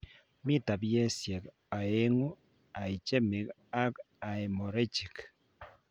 Mi taipisiek oengu ischemic ak hemorrhagic